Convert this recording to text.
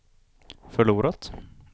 förlorat